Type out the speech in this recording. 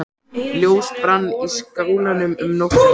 Ljós brann í skálanum um nóttina.